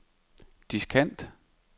diskant